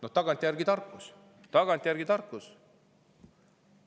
Noh, tagantjärele tarkus, tagantjärele tarkus.